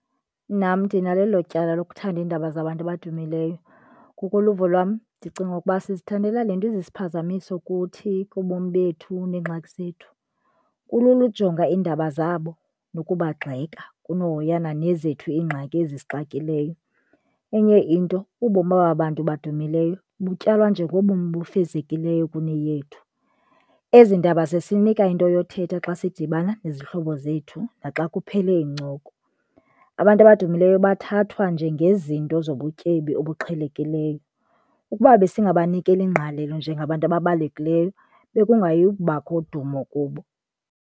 Nam ndinalo elo tyala lokuthanda iindaba zabantu abadumileyo. Ngokoluvo lwam ndicinga ukuba sizithandela le nto iziphazamiso ukuthi kubomi bethu neengxaki zethu. Kulula ujonga iindaba zabo nokubagxeka kunohoyana nezethu iingxaki ezisixakileyo. Enye into ubomi kwabantu badumileyo butyalwa njengobomi obu fezekileyo kune yethu. Ezindaba zisinika into yokuthetha xa sidibana nezihlobo zethu naxa kuphele iincoko. Abantu abadumileyo bathathwa njengezinto zobutyebi obuqhelekileyo ukuba besingabanikeli ngqalelo njengabantu ababalulekileyo bekungayi kubakho dumo kubo.